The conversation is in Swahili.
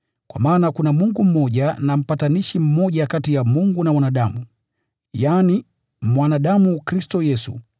Kwa maana kuna Mungu mmoja na mpatanishi mmoja kati ya Mungu na wanadamu, yaani mwanadamu Kristo Yesu,